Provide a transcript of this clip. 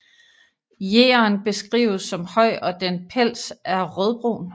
Yeren beskrives som høj og den pels er rødbrun